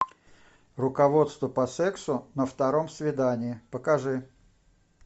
руководство по сексу на втором свидании покажи